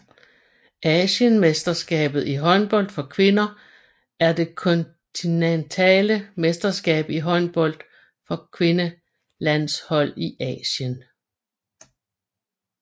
Asienmesterskabet i håndbold for kvinder er det kontinentale mesterskab i håndbold for kvindelandshold i Asien